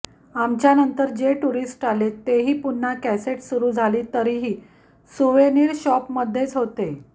आमच्या नंतर जे टुरीस्ट आले ते ही पुन्हा कॅसेट सुरू झाली तरीही सुवेनिर शॉपमध्येच होते